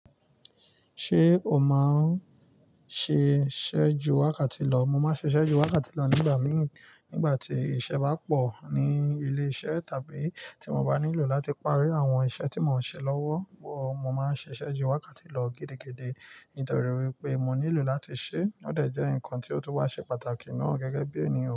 Ṣé o máa ń ṣiṣẹ́ ju wákàtí lọ? Mo máa ń ṣiṣẹ́ ju wákàtí lọ nígbà mí, nígbà tí iṣẹ́ bá pọ̀ ní ilé-iṣẹ́ tàbí tí mo bá nílò láti parí àwọn iṣẹ́ tí mò ń ṣe lọ́wọ́. Wọ̀, mo máa ń ṣiṣẹ́ ju wákàtí lọ gẹ́dẹ́gẹ́dẹ́ nítorí wípé mo nílò láti ṣé. Ó dẹ̀ jẹ́ ǹkan tí ó tún wá ṣe pàtàkì náà gẹ́gẹ́ bí ènìyàn.